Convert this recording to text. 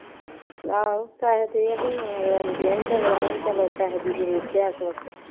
ਆਹੋ ਪੈਸੇ ਦੇ ਚੱਲੋ ਪੈਸੇ ਦੀ ਜ਼ਰੂਰਤ ਹੈ